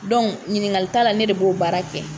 ɲininkali t'a la , ne de b'o baara kɛ.